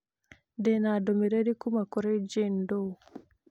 Ndĩ na ndũmĩrĩri kuuma kũrĩ Jane Doe